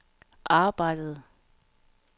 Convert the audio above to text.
arbejdede